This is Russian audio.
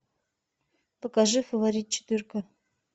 покажи фаворит четырка